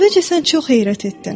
Əvvəlcə sən çox heyrət etdin.